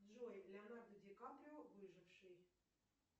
джой леонардо ди каприо выживший